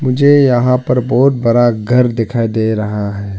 मुझे यहां पर बहुत बड़ा घर दिखाई दे रहा है।